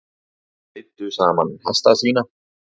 Leiddu saman hesta sína